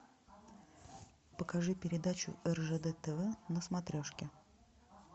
покажи передачу ржд тв на смотрешке